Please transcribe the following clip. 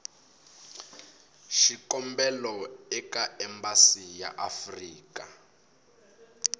xikombelo eka embasi ya afrika